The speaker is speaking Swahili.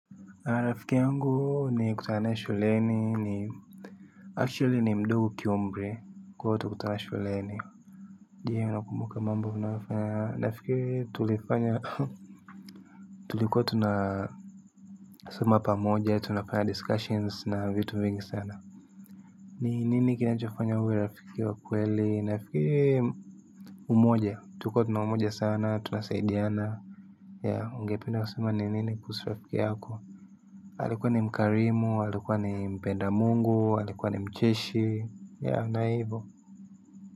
Rafiki yangu niliyekutana naye shuleni, ni actually ni mdogo kiumri niliyekutana naye shuleni. Je, unakumbuka mambo unayofanya rafiki tulifanya? Tulipokuwa tunasoma pamoja, tunafanya discussions na vitu vingi sana. Ni nini kinachofanya uwe rafiki wa kweli? Rafiki ni umoja. Tuko pamoja sana, tunasaidiana. Ya, ungependa kusema ni nini kuhusu rafiki yako? Alikuwa ni mkarimu, alikuwa ni mpenda Mungu, alikuwa ni mcheshi, yeah, ndiyo hivo.